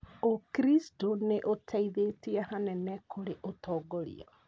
ũkristo nĩũteithĩtie hanene kũrĩ ũtongoria